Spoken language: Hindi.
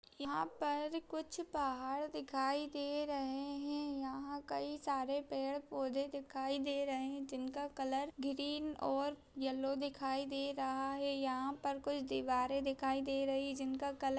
यहाँ पर कुछ पहाड़ दिखाई दे रहे हैं यहाँ कई सारे पेड़ पौधे दिखाई दे रहे हैं जिनका कलर ग्रीन और येलो दिखाई रहा है यहाँ पर कुछ दीवारें दिखाई दे रही है जिनका कलर --